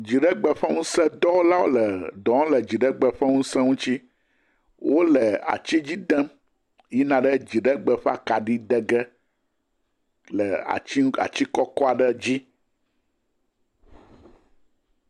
Dziɖegbe ƒe ŋusedɔwɔlawo le dɔ wɔm le dziɖegbe ƒe ŋuse ŋuti. Wole atsi dzi dem yina ɖe dziɖegbe ƒe akaɖi de ge le atsi ŋu atsi kɔkɔ aɖe dzi.